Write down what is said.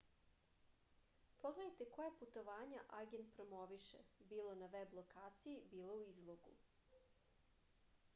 pogledajte koja putovanja agent promoviše bilo na veb lokaciji bilo u izlogu